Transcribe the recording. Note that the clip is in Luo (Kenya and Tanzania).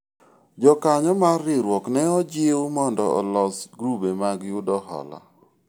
jokanyo mar riwruok ne ojiwu mondo olos grube mag yudo hola